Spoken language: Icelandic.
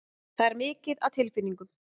Það er mikið af tilfinningum.